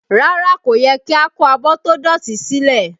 Rárá, kò yẹ kí a kó abọ́ tó dọ̀tí sílẹ̀